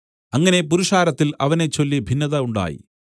അങ്ങനെ പുരുഷാരത്തിൽ അവനെച്ചൊല്ലി ഭിന്നത ഉണ്ടായി